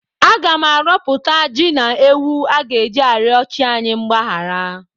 Aga m arọpụta ji na ewu a ga-eji arịọ chi anyị mgbahara.